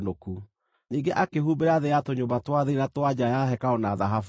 Ningĩ akĩhumbĩra thĩ ya tũnyũmba twa thĩinĩ na twa nja ya hekarũ na thahabu.